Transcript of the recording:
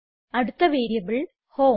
അടുത്ത variable home